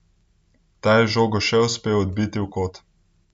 Ta je žogo še uspel odbiti v kot.